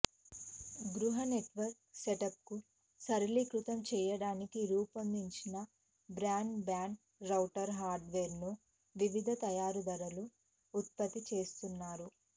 గృహ నెట్వర్క్ సెటప్ను సరళీకృతం చేయడానికి రూపొందించిన బ్రాడ్బ్యాండ్ రౌటర్ హార్డ్వేర్ను వివిధ తయారీదారులు ఉత్పత్తి చేస్తున్నారు